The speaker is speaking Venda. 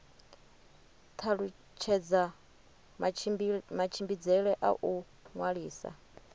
talutshedza matshimbidzele a u ṅwalisa